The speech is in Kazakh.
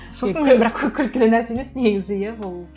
сосын мен бірақ күлкілі нәрсе емес негізі иә ол